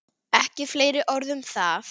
Ekki fleiri orð um það!